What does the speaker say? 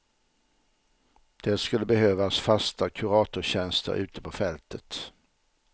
Det skulle behövas fasta kuratorstjänster ute på fältet.